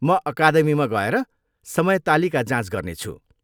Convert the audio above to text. म अकादमीमा गएर समय तालिका जाँच गर्नेछु।